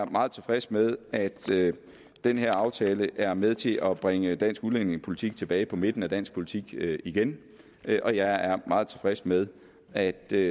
meget tilfreds med at den her aftale er med til at bringe dansk udlændingepolitik tilbage på midten af dansk politik igen og jeg er meget tilfreds med at der